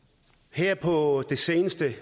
her på det seneste